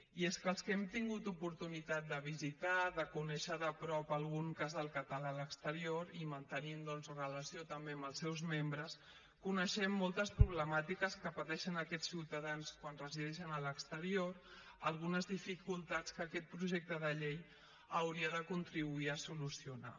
i és que els que hem tingut oportunitat de visitar de conèixer de prop algun casal català a l’exterior i mantenim doncs relació també amb els seus membres coneixem moltes problemàtiques que pateixen aquests ciutadans quan resideixen a l’exterior algunes dificultats que aquest projecte de llei hauria de contribuir a solucionar